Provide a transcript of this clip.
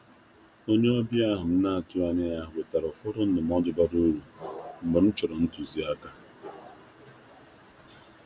Onye ọbịa ahụ m na-atụghị anya ya wetara ụfọdụ ndụmọdụ bara uru mgbe m chọrọ ntuzi aka.